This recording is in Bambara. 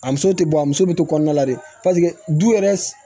A muso tɛ bɔ a muso bɛ to kɔnɔna la dɛ paseke du yɛrɛ